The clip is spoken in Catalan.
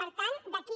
per tant d’aquí